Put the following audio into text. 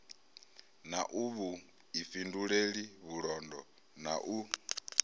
na vhuifhinduleli vhulondo na u